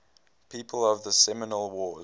people of the seminole wars